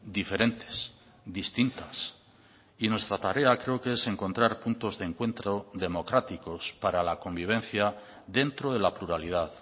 diferentes distintas y nuestra tarea creo que es encontrar puntos de encuentro democráticos para la convivencia dentro de la pluralidad